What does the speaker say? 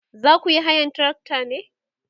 zakuyi hayan trakta ne?